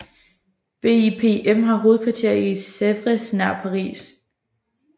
BIPM har hovedkvarter i Sevres nær Paris